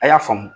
A y'a faamu